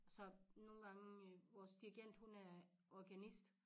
Så nogle gange øh vores dirigent hun er organist